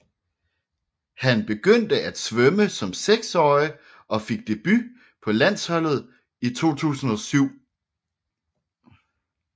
Han begyndte at svømme som seksårig og fik debut på landsholdet i 2007